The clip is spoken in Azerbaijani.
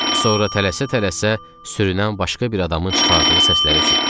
Sonra tələsə-tələsə sürünən başqa bir adamın çıxardığı səsləri eşitdik.